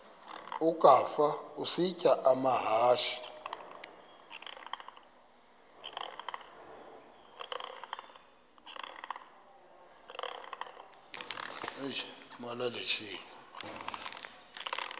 ukafa isitya amahashe